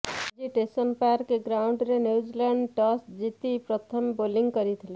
ଆଜି Seddon park ଗ୍ରାଉଣ୍ଡରେ New Zealand toss ଜିତି ପ୍ରଥମେ ବୋଲିଂ କରିଥିଲା